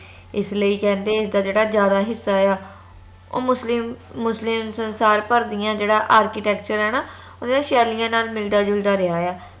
ਇਸ ਲਈ ਕਹਿੰਦੇ ਇਸ ਦਾ ਜੇਹੜਾ ਜਿਆਦਾ ਹਿੱਸਾ ਆ ਓ ਮੁਸਲਿਮ ਮੁਸਲਿਮ ਸੰਸਾਰ ਭਰ ਦੀਆ architecture ਆ ਨਾ ਓਨਾ ਦੀਆਂ ਸ਼ੈਲੀਆਂ ਨਾਲ ਮਿਲਦਾ ਜੁਲਦਾ ਰਿਹਾ ਆ